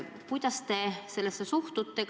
Kuidas te sellesse suhtute?